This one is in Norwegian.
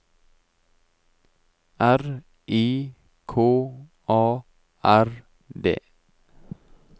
R I K A R D